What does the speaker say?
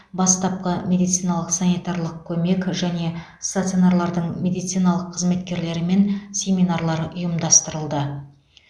бастапқы медициналық санитарлық көмек және стационарлардың медициналық қызметкерлерімен семинарлар ұйымдастырылды